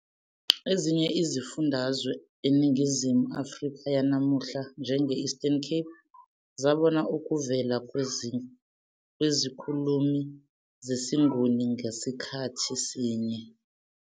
Ezinye izifundazwe eNingizimu Afrika yanamuhla, njenge- Eastern Cape, zabona ukuvela kwezikhulumi zesiNguni ngasikhathi sinye.